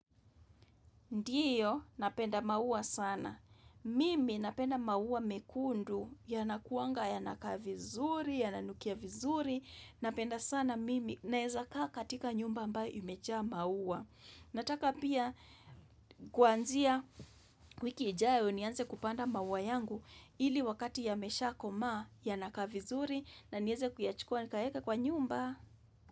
Ndio, napenda maua sana. Mimi napenda maua mekundu yanakuanga yanakaa vizuri, yananukia vizuri,, Napenda sana mimi naezakaa katika nyumba ambayo imejaa maua. Nataka pia kuanzia wiki ijayo nianze kupanda maua yangu ili wakati yameshaa komaa yanakaa vizuri na nieze kuyachukua nikaeka kwa nyumbaa.